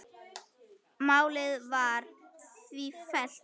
Málið var því fellt niður.